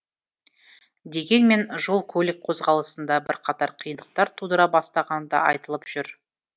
дегенмен жол көлік қозғалысында бірқатар қиындықтар тудыра бастағаны да айтылып жүр